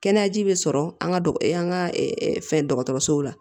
Kɛnɛya ji bɛ sɔrɔ an ka an ka fɛn dɔgɔtɔrɔsow la